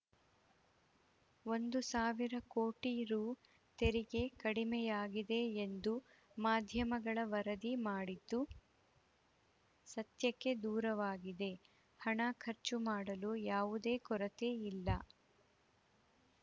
ಒಂದು ಸಾವಿರ ಕೋಟಿ ರು ತೆರಿಗೆ ಕಡಿಮೆಯಾಗಿದೆ ಎಂದು ಮಾಧ್ಯಮಗಳು ವರದಿ ಮಾಡಿದ್ದು ಸತ್ಯಕ್ಕೆ ದೂರವಾಗಿದೆ ಹಣ ಖರ್ಚು ಮಾಡಲು ಯಾವುದೇ ಕೊರತೆ ಇಲ್ಲ